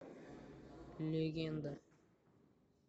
легенда